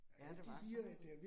Ja, det var sådan noget